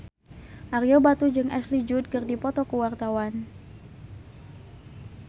Ario Batu jeung Ashley Judd keur dipoto ku wartawan